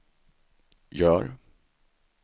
gör